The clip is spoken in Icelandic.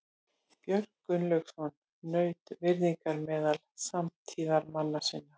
Björn Gunnlaugsson naut virðingar meðal samtíðarmanna sinna.